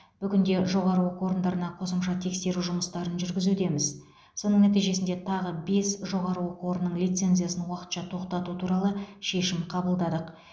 бүгінде жоғары оқу орындарына қосымша тексеру жұмыстарын жүргізудеміз соның нәтижесінде тағы бес жоғары оқу орынының лицензиясын уақытша тоқтату туралы шешім қабылдадық